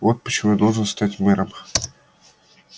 вот почему я должен стать мэром